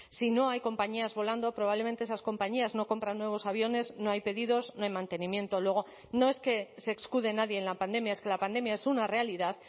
si no hay compañías volando probablemente esas compañías no compran nuevos aviones no hay pedidos no hay mantenimiento luego no es que se escude nadie en la pandemia es que la pandemia es una realidad